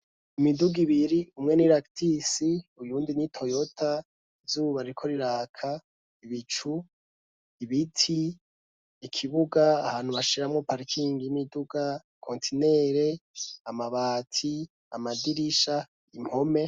Imiduga ibiri umwene i laktisi uyundi n'i toyota izuba riko riraka ibicu ibiti ikibuga ahantu bashiramwo parkingi y'imiduga kontinere amabati amadirisha impome.